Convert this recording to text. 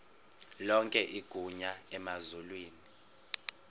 lonke igunya emazulwini